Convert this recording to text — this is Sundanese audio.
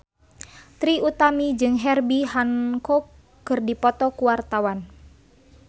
Trie Utami jeung Herbie Hancock keur dipoto ku wartawan